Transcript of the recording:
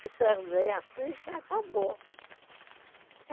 Se perder a ficha, acabou.